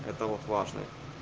это вот важный